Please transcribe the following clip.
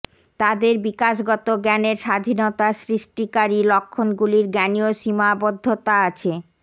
তাদের বিকাশগত জ্ঞানের স্বাধীনতা সৃষ্টিকারী লক্ষণগুলির জ্ঞানীয় সীমাবদ্ধতা আছে